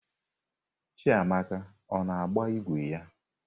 Chiamaka ọ na-agba ígwè ya?